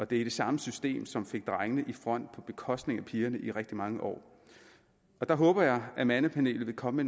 det er det samme system som fik drengene i front på bekostning af pigerne i rigtig mange år der håber jeg at mandepanelet vil komme